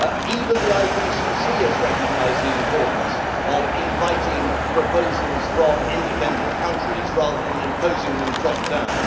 Even the IPCC has recognised the importance of inviting proposals from independent countries rather than imposing them top down.